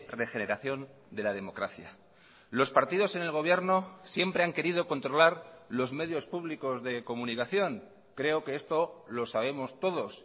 regeneración de la democracia los partidos en el gobierno siempre han querido controlar los medios públicos de comunicación creo que esto lo sabemos todos